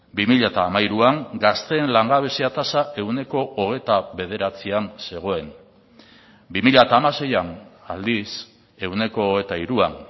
bi mila hamairuan gazteen langabezia tasa ehuneko hogeita bederatzian zegoen bi mila hamaseian aldiz ehuneko hogeita hiruan